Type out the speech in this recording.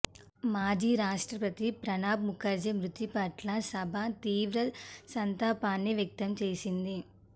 మాజీ రాష్ట్రపతి ప్రణబ్ ముఖర్జీ మృతిపట్ల సభ తీవ్ర సంతాపాన్ని వ్యక్తం చేసింది